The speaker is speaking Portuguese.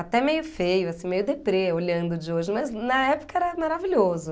Até meio feio, assim, meio deprê olhando de hoje, mas na época era maravilhoso.